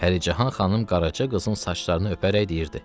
Pərican xanım qaraca qızın saçlarını öpərək deyirdi: